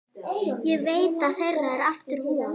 Ég veit að þeirra er aftur von.